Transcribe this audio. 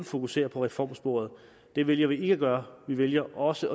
fokusere på reformsporet det vælger vi ikke at gøre vi vælger også